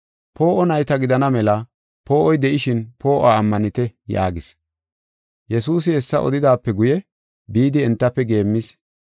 Poo7o nayta gidana mela poo7oy de7ishin poo7uwa ammanite” yaagis. Yesuusi hessa odetidaape guye bidi entafe geemmis.